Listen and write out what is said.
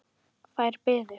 Þær biðu.